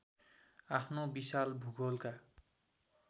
आफ्नो विशाल भूगोलका